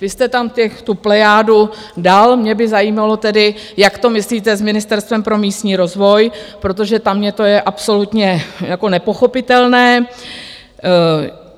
Vy jste tam tu plejádu dal, mě by zajímalo tedy, jak to myslíte s Ministerstvem pro místní rozvoj, protože tam mně je to absolutně jako nepochopitelné.